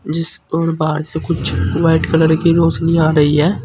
जिस ओर बाहर से कुछ व्हाइट कलर की रोशनी आ रही है।